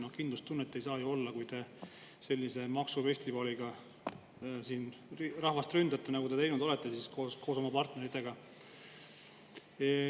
Aga kindlustunnet ei saa ju olla, kui te rahvast sellise maksufestivaliga ründate, nagu te siin teinud olete koos oma partneritega.